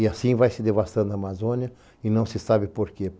E assim vai se devastando a Amazônia e não se sabe por quê.